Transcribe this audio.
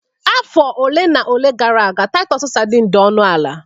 Afọ ole na ole gara aga Titus sardine dị ọnụ ala